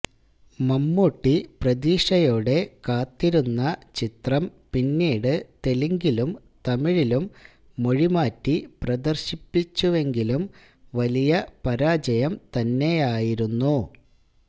മമ്മൂട്ടി പ്രതീക്ഷയോടെ കാത്തിരുന്ന ചിത്രം പിന്നീട് തെലുങ്കിലും തമിഴിലും മൊഴി മാറ്റി പ്രദര്ശിപ്പിച്ചുവെങ്കിലും വലിയ പരാജയം തന്നെയായിരുന്നു